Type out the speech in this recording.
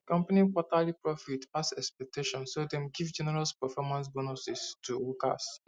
di company quarterly profits pass expectations so dem give generous performance bonuses to workers